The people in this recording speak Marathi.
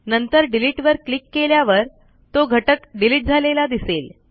नंतर डिलिटवर क्लिक केल्यावर तो घटक डिलिट झालेला दिसेल